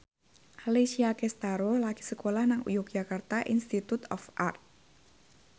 Alessia Cestaro lagi sekolah nang Yogyakarta Institute of Art